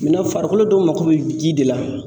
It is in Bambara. farikolo dɔw mako bɛ ji de la.